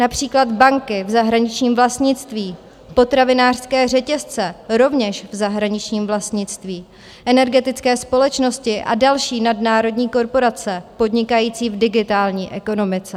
Například banky v zahraničním vlastnictví, potravinářské řetězce rovněž v zahraničním vlastnictví, energetické společnosti a další nadnárodní korporace podnikající v digitální ekonomice.